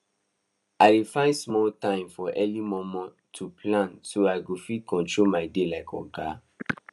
i dey find small time for early momo to plan so i go fit control my day like oga